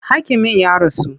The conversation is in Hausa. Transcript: Hakimin ya rasu.